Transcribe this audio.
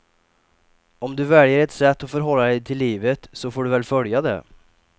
Om du väljer ett sätt att förhålla dig till livet så får du väl följa det.